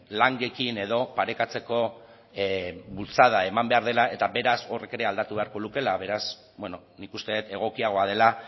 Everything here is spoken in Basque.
langekin edo parekatzeko bultzada eman behar dela eta beraz horrek ere aldatu beharko lukeela beraz nik uste dut egokiagoa dela